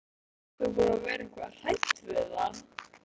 Karen: Ert þú búin að vera eitthvað hrædd við það?